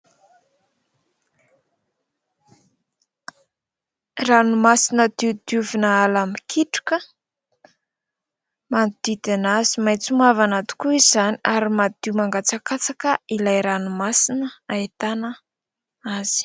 Ranomasina diodiovina ala mikitroka manodidina azy, maitso mavana tokoa izany ary madio mangatsakatsaka ilay ranomasina ahitana azy.